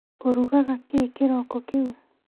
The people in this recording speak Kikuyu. Ũrugaga kĩĩ kĩroko kĩu?